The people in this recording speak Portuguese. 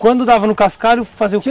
Quando dava no cascalho fazia o que?